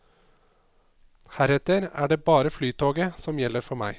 Heretter er det bare flytoget som gjelder for meg.